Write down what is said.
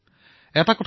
মই ইয়াক ভাল বুলি কও